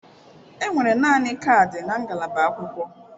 Enwere naanị kaadị na ngalaba akwụkwọ.